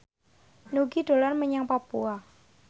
Nugie dolan menyang Papua